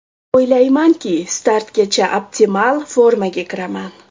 O‘ylaymanki, startgacha optimal formaga kiraman.